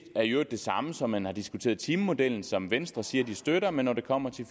er i øvrigt det samme som man har diskuteret i timemodellen som venstre siger de støtter men når det kommer til